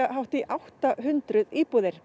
hátt í átta hundruð íbúðir